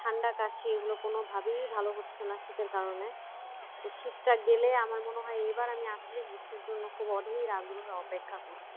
ঠান্ডা কাশি এগুলো কোনভাবেই ভালো হচ্ছে না শীতের কারণে তো শীতটা গেলে আমার মনে হয় এবার আমি আসলেই গ্রীষ্মের জন্য খুবই অধীর আগ্রহে অপেক্ষা করছি